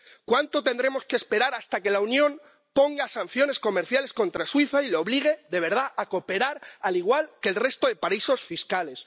¿Cuánto tendremos que esperar hasta que la Unión imponga sanciones comerciales contra Suiza y la obligue de verdad a cooperar, al igual que el resto de paraísos fiscales?